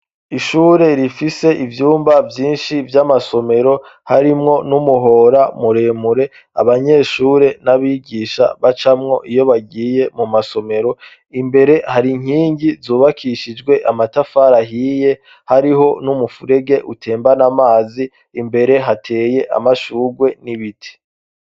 Ishure rifise ivyumba vyinshi vy'amasomero, harimwo n'umuhora muremure abanyeshure n'abigisha bacamwo iyo bagiye mu masomero, imbere hari inkingi zubakishijwe amatafari ahiye, hariho n'umufurege utembana amazi, imbere hateye amashurwe n'ibiti.